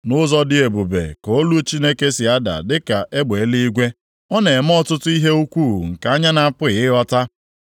Nʼụzọ dị ebube ka olu Chineke si ada dịka egbe eluigwe; ọ na-eme ọtụtụ ihe ukwuu nke anyị na-apụghị ịghọta.